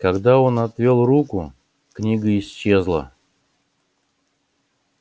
когда он отвёл руку книга исчезла